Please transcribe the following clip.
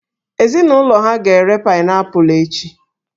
Ezinụlọ ha ga na-ere paịnaịpụlụ echi